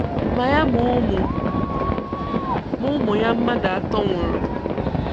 Ma ya ma ụmụ ma ụmụ ya mmadụ atọ nwụrụ